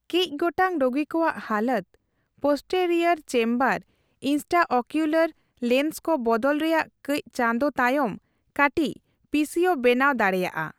ᱠᱟᱹᱪ ᱜᱚᱴᱟᱝ ᱨᱳᱜᱤᱠᱚᱭᱟᱜ ᱦᱟᱞᱚᱛ, ᱯᱚᱥᱴᱮᱨᱤᱭᱚᱨ ᱪᱮᱢᱵᱟᱨ ᱤᱱᱴᱨᱟᱚᱠᱤᱣᱞᱚᱨ ᱞᱮᱸᱱᱥᱠᱚ ᱵᱚᱫᱚᱞ ᱨᱮᱭᱟᱜ ᱠᱟᱹᱪ ᱪᱟᱸᱫᱳ ᱛᱟᱭᱚᱢ ᱠᱟᱹᱴᱤᱪ ᱯᱤᱥᱤᱳ ᱵᱮᱱᱟᱣ ᱫᱟᱲᱮᱭᱟᱜᱼᱟ ᱾